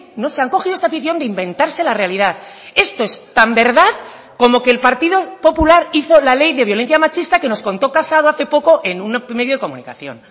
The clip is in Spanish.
no sé han cogido esta afición de inventarse la realidad esto es tan verdad como que el partido popular hizo la ley de violencia machista que nos contó casado hace poco en un medio de comunicación